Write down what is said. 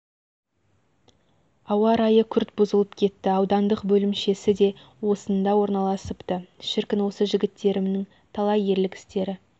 ауа райы күрт бұзылып кетті аудандық бөлімшесі де осында орналасыпты шіркін осы жігіттерімінің талай ерлік істері